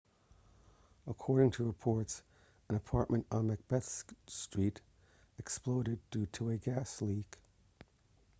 according to reports an apartment on macbeth street exploded due to a gas leak